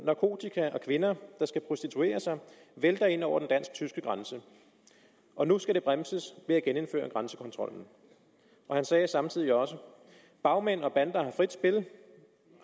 narkotika og kvinder der skal prostituere sig vælter ind over den dansk tyske grænse og nu skal det bremses ved at genindføre grænsekontrollen han sagde samtidig også bagmænd